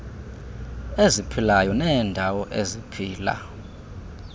eziphilayo neendawo eziphila